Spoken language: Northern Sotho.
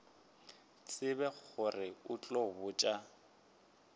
tsebe gore o tla botša